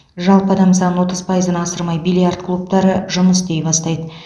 жалпы адам санын отыз пайыздан асырмай бильярд клубтары жұмыс істей бастайды